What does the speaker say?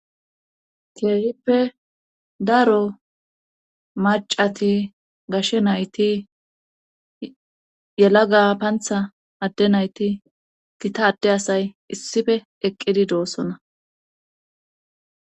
keehippe daro macati gashe nayti yela ga pantha adde nayti gita adde asay issife eqqidi doossona